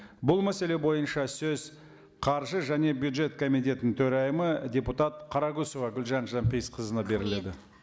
бұл мәселе бойынша сөз қаржы және бюджет комитетінің төрайымы депутат қарақұсова гүлжан жанпейісқызына беріледі